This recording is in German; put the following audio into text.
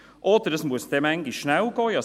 Oder manchmal muss es schnell gehen.